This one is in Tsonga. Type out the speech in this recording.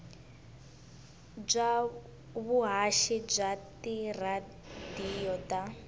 bya vuhaxi bya tiradiyo ta